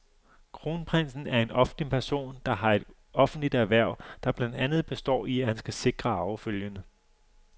Kronprinsen er en offentlig person, der har et offentligt hverv, der blandt andet består i, at han skal sikre arvefølgen.